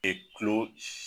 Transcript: kulo s